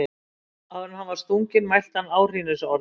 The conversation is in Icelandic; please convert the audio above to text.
Áður en hann var stunginn mælti hann áhrínisorð.